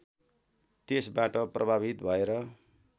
त्यसबाट प्रभावित भएर